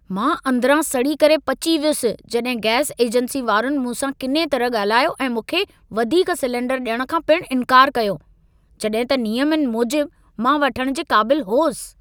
मां अंदरां सड़ी करे पची वयुसि जड॒हि गैस एजेंसी वारनि मूं सां किने तरह ॻाल्हायो ऐं मूंखे वधीक सिलेंडर डि॒यणु खां पिण इंकार कयो जड॒हिं त नियमनि मूजिबि मां वठणु जे क़ाबिलु होसि।